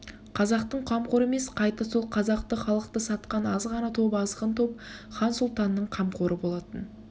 қазақтың қамқоры емес қайта сол қазақты халықты сатқан аз ғана топ азғын топ хан-сұлтанның қамқоры болатын